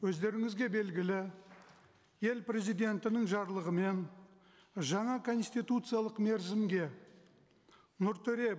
өздеріңізге белгілі ел президентінің жарлығымен жаңа конституциялық мерзімге нұртөре